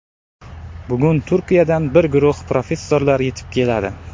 Bugun Turkiyadan bir guruh professorlar yetib keladi.